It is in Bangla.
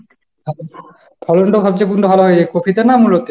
ফলনটা সবচেয়ে কোনটা ভালো হয়েছে? কপিতে না মূলোতে?